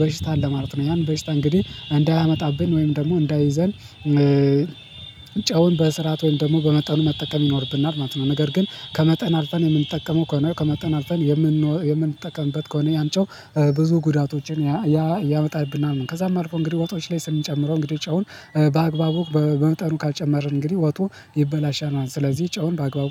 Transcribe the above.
በሽታ አለ ማለት ነው። ያን በሽታ እንግዲህ እንዳያመጣብን ወይም ደግሞ እንዳይዘል እ ጨውን በስራት ወይም ደግሞ በመጠኑ መጠቀም ይኖርብናል ማለት ነው። ነገር ግን ከመጠን አልፈን የምንጠቀመው ከሆነ፤ ከመጠን አልፈን የምን የምንጠቀምበት ከሆነ ያን ጨው ብዙ ጉዳቶችን ያ ያመጣብናል። ከዛም አልፎ እንግዲህ ወጦች ላይ ስንጨምረው እንግዲህ ጨውን በአግባቡ በመጠኑ ካልጨመርን እንግዲህ ወጡ ይበላሻናል። ስለዚህ ጨውን በአግባቡ